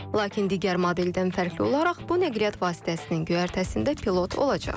Lakin digər modeldən fərqli olaraq bu nəqliyyat vasitəsinin göyərtəsində pilot olacaq.